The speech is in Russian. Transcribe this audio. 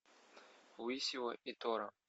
усио и тора